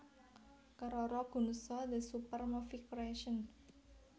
Keroro Gunso the Super Movie Creation